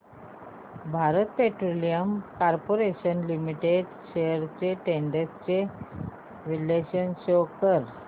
Bharat petroleum corporation limited shares trends चे विश्लेषण show कर